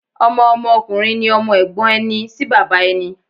Ọmọ Ọmọ ọkùnrin ni Ọmọ Ègbón ẹni sí bàbá ẹni